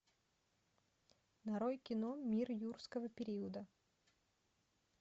нарой кино мир юрского периода